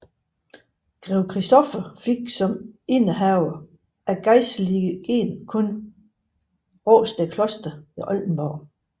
Grev Christoffer fik som ihændehaver af gejstlige len kun Rastedt Kloster ved Oldenborg